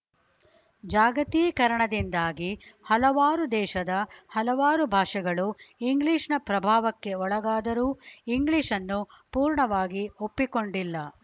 ಜಾಗತೀಕರಣದಿಂದಾಗಿ ಹಲವಾರು ದೇಶದ ಹಲವಾರು ಭಾಷೆಗಳು ಇಂಗ್ಲೀಷ್‌ನ ಪ್ರಭಾವಕ್ಕೆ ಒಳಗಾದರೂ ಇಂಗ್ಲಿಷನ್ನು ಪೂರ್ಣವಾಗಿ ಒಪ್ಪಿಕೊಂಡಿಲ್ಲ